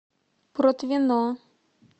протвино